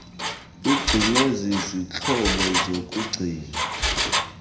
ugcinwe kwizixhobo zokugcina